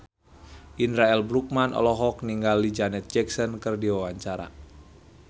Indra L. Bruggman olohok ningali Janet Jackson keur diwawancara